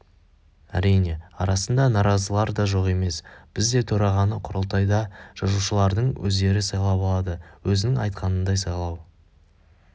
әрине арасында наразылар да жоқ емес бізде төрағаны құрылтайда жазушылардың өздері сайлап алады өзіңнің айтқаныңдай сайлау